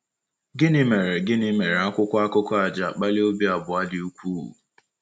Gịnị mere Gịnị mere akwụkwọ akụkọ a ji akpali obi abụọ dị ukwuu?